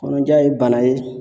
Kɔnɔja ye bana ye